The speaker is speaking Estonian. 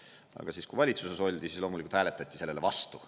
Aga siis, kui valitsuses oldi, siis loomulikult hääletati sellele vastu.